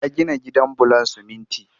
Ya gina gidan bulon siminti